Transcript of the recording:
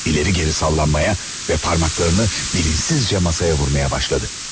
İleri geri sallanmaya ve parmaklarını bilinçsizce masaya vurmaya başladı.